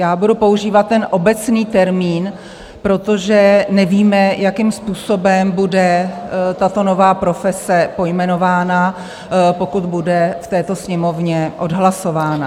Já budu používat ten obecný termín, protože nevíme, jakým způsobem bude tato nová profese pojmenována, pokud bude v této Sněmovně odhlasována.